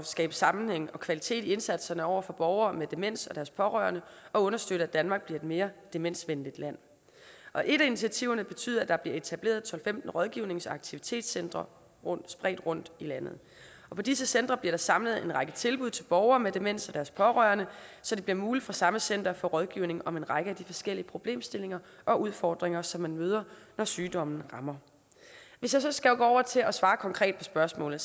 skabe sammenhæng og kvalitet i indsatsen over for borgere med demens og deres pårørende og understøtte at danmark bliver et mere demensvenligt land et af initiativerne betyder at der bliver etableret tolv til femten rådgivnings og aktivitetscentre spredt rundt i landet og på disse centre samles en række tilbud til borgere med demens og deres pårørende så det bliver muligt for samme center at få rådgivning om en række af de forskellige problemstillinger og udfordringer som man møder når sygdommen rammer hvis jeg så skal gå over til at svare konkret på spørgsmålet